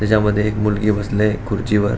ह्याच्यामध्ये एक मुलगी बसलेय खुर्चीवर.